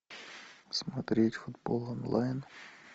смотреть футбол онлайн